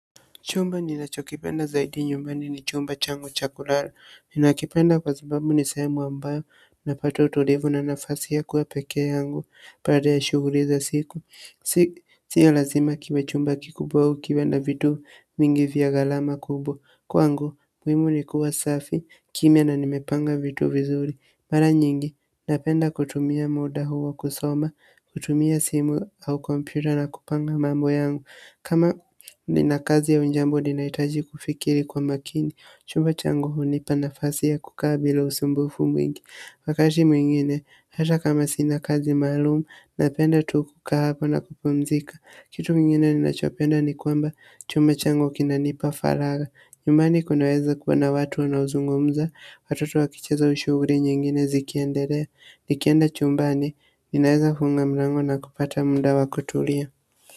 Chumba ninachokipenda zaidi nyumbani ni chumba changu cha kulala ninakipenda kwa sababu ni sehemu ambayo ninapata utulivu na nafasi ya kuwa peke yangu baada ya shughuli za siku sio lazima kiwe chumba kikubwa au kiwe na vitu vingi vya gharama kubwa kwangu, muhimu ni kuwa safi, kimya na nimepanga vitu vizuri mara nyingi, napenda kutumia muda huo kusoma kutumia simu au kompyuta na kupanga mambo yangu kama ni na kazi au jambo ninahitaji kufikiri kwa makini chumba changu hunipa nafasi ya kukaa bila usumbufu mwingi wakati mwingine hata kama sina kazi maalumu napenda tu kukaa hapo na kupumzika kitu kingine ni nachopenda ni kwamba chumba changu kinanipa faragha nyumbani kunaweza kuwa na watu wanaozungumza watoto wakicheza au shughuli nyingine zikiendelea nikienda chumbani ninaweza funga mlango na kupata muda wa kutulia.